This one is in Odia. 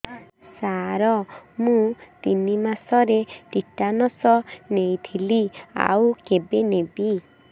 ସାର ମୁ ତିନି ମାସରେ ଟିଟାନସ ନେଇଥିଲି ଆଉ କେବେ ନେବି